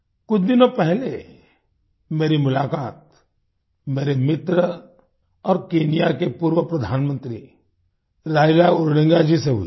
कुछ दिनों पहले मेरी मुलाकात मेरे मित्र और केन्या के पूर्व प्रधानमंत्री राइला ओडिंगा जी से हुई थी